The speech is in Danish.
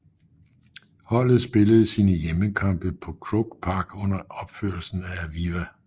Holdet spillede sine hjemmekampe på Croke Park under opførelsen af Aviva